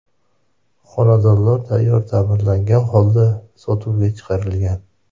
Xonadonlar tayyor, ta’mirlangan holda sotuvga chiqarilgan.